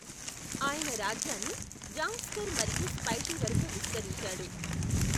ఆయన రాజ్యాన్ని జాంగ్స్కర్ మరియు స్పైటి వరకు విస్తరించాడు.